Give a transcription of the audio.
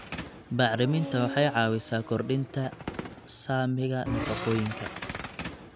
Bacriminta waxay caawisaa kordhinta saamiga nafaqooyinka.